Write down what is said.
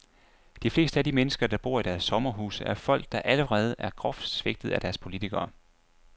De fleste af de mennesker, der bor i deres sommerhuse, er folk, der allerede er groft svigtet af deres politikere.